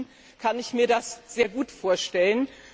Inzwischen kann ich mir das sehr gut vorstellen.